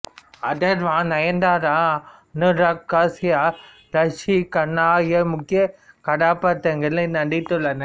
அதர்வா நயன்தாரா அனுராக் காஷ்யப் ராஷி கன்னா ஆகியோர் முக்கியக் கதாப்பாத்திரங்களில் நடித்துள்ளனர்